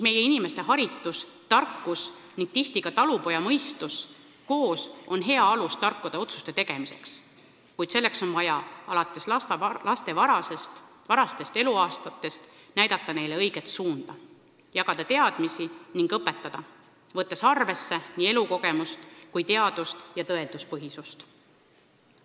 Meie inimeste haritus ja tarkus koos talupojamõistusega on tihti hea alus tarkade otsuste tegemiseks, kuid selleks on vaja lastele nende varastest eluaastatest peale näidata õiget suunda, jagada teadmisi, neid õpetada, võttes arvesse nii elukogemust kui teadust ja tõenduspõhisust.